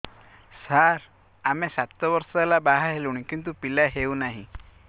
ସାର ଆମେ ସାତ ବର୍ଷ ହେଲା ବାହା ହେଲୁଣି କିନ୍ତୁ ପିଲା ହେଉନାହିଁ